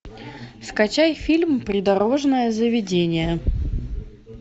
скачай фильм придорожное заведение